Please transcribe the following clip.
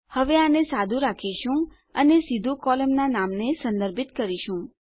હવે આપણે આને સાદું રાખીશું અને આપણે સીધું આપણા કોલમનાં નામને સંદર્ભિત કરીશું